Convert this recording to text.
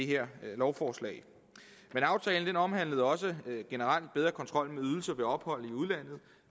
her lovforslag men aftalen omhandlede også generelt en bedre kontrol med ydelser ved ophold i udlandet